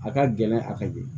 A ka gɛlɛn a ka ye